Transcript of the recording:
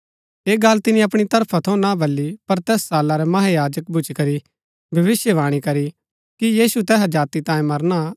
ऐह गल तिनी अपणी तरफा थऊँ ना बली पर तैस साला रै महायाजक भूच्ची करी भविष्‍यवाणी करी कि यीशु तैहा जाति तांयें मरणा